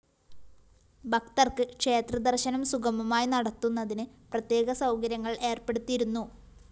ഭക്തര്‍ക്ക് ക്ഷേത്ര ദര്‍ശനം സുഗമമായി നടത്തുന്നതിന് പ്രത്യേക സൗകര്യങ്ങള്‍ ഏര്‍പ്പെടുത്തിയിരുന്നു